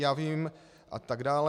Já vím... a tak dále.